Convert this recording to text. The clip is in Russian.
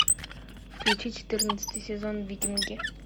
включи четырнадцатый сезон викинги